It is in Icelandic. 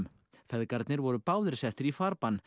feðgarnir voru báðir settir í farbann